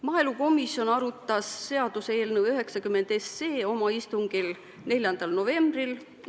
Maaelukomisjon arutas seaduseelnõu 90 oma 4. novembri istungil.